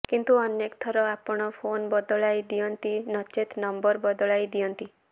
କିନ୍ତୁ ଅନେକ ଥର ଆପଣ ଫୋନ ବଦଳାଇ ଦିଅନ୍ତି ନଚେତ ନମ୍ବର ବଦଳାଇ ଦିଅନ୍ତି